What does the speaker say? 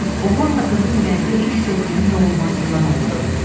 Oğlanla qızın ürəyində ilk sevginin doğulmasından oxudu.